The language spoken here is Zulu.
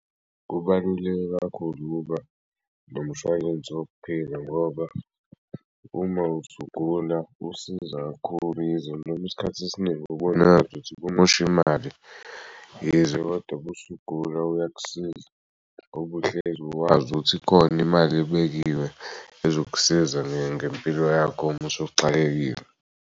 Kubaluleke kakhulu ukuba nomshwalense wokuphila ngoba uma usugula usiza kakhulu yize noma isikhathi esiningi ubona ngazuthi kumoshi mali yize koda busugula uyakusiza ngob'uhlezi wazi ukuthi ikhona imal'ebekiwe ezokusiza ngempilo yakho musuxakekile.